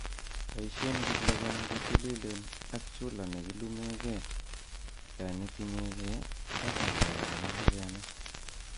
Boishen kiplogom chetililen ak chulaa nekilumengee yon itinyegee ak ngalek ab ingokenik